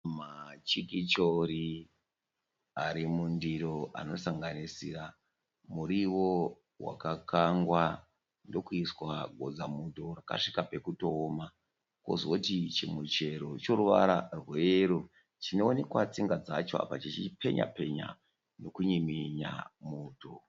Machikichori arimundiro anosanganisira muriwo wakakangwa ndokuiswa godzamuto wakasvika pekutooma. Kozoti chimuchero choruvara rweyero chonoonekwa tsinga dzacho apa chichipenyapenya nekunyiminya muto.